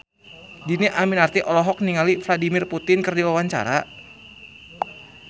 Dhini Aminarti olohok ningali Vladimir Putin keur diwawancara